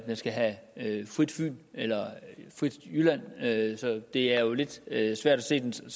skal have frit fyn eller frit jylland det er jo lidt svært at se den som